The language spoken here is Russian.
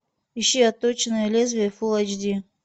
ищи отточенное лезвие фул эйч ди